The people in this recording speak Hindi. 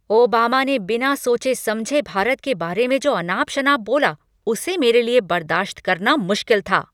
ओबामा ने बिना सोचे समझे भारत के बारे में जो अनाप शनाप बोला उसे मेरे लिए बर्दाश्त करना मुश्किल था।